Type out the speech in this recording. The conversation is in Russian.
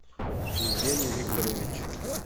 евгений викторович